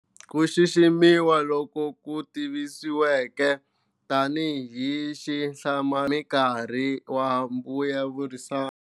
Ku xiximiwa loku ku tivisiweke tani hi xihlama nkarhi wa mbulavurisano.